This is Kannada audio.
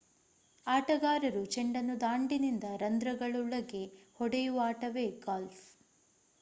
ಆಟಗಾರರು ಚೆಂಡನ್ನು ದಾಂಡಿನಿಂದ ರಂಧ್ರಗಳೊಳಗೆ ಹೊಡೆಯುವ ಆಟವೇ ಗಾಲ್ಫ್